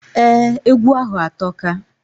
Ee, egwu ahu atoka.